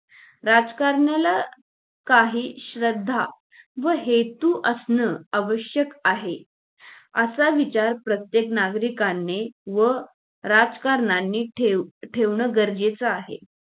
राजकारणाला काही श्रद्धा व हेतू असण आवश्यक आहे असा विचार प्रत्येक नागरिकांने व राजकारणाने ठेव ठेवणं गरजेचं आहे